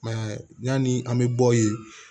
yanni an bɛ bɔ yen